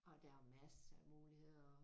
Og der er masser af muligheder